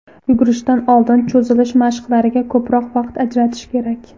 Yugurishdan oldin cho‘zilish mashqlariga ko‘proq vaqt ajratish kerak.